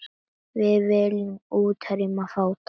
Við viljum útrýma fátækt.